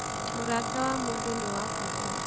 Mũrata wa mũndũ nĩ wa bata.